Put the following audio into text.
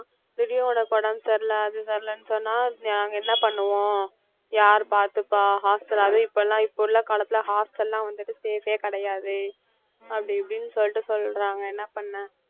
திடீர்னு உனக்கு உடம்பு சரியில்ல அது சரிஇல்ல சொன்னா நாங்க என்ன பண்ணுவோம் யார் பார்த்துப்பா hostel அதுவும் இப்ப எல்லாம் இப்ப உள்ள காலத்துல hostel வந்துட்டு safe ஏ கிடையாது அப்படின்னு இப்படின்னு சொல்லிட்டு சொல்றாங்க என்ன பண்ண